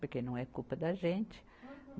Porque não é culpa da gente. Uhum.